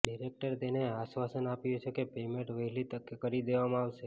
ડિરેક્ટરે તેને આશ્વાસન આપ્યું છે કે પેમેન્ટ વહેલી તકે કરી દેવામાં આવશે